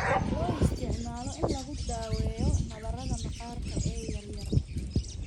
Loo isticmaalo in lagu daweeyo nabarrada maqaarka ee yar yar.